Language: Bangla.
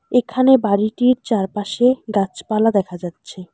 এখানে বাড়িটির চারপাশে গাছপালা দেখা যাচ্ছে।